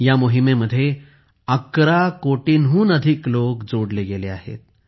ह्या मोहीमेमध्ये 11 कोटींहून अधिक लोक जोडले गेले आहेत